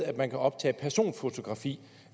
at man kan optage personfotografi